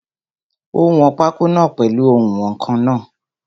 Ó wọn pákó náà pèlu oùnwọ̀nkan náà.